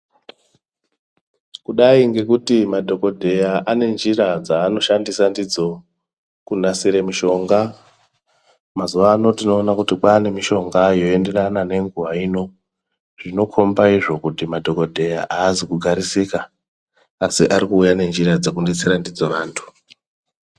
Kudai ngekuti madhokodheya ane njira dzavanoshandisa ndidzo kunasira mushonga. Mazuwa ano tinoona kuti kwaane mishonga yoenderana nenguwa ino. Inokhomba izvo kuti madhokodheya aazi kugarisika asi ari kuuya nenjira dzekudetsera ndidzo antu.